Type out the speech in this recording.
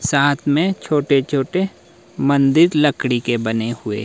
साथ में छोटे छोटे मंदिर लकड़ी के बने हुए।